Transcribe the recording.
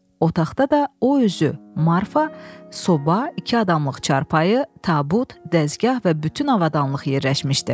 Otaqda da o özü, Marfa, soba, iki adamlıq çarpayı, tabut, dəzgah və bütün avadanlıq yerləşmişdi.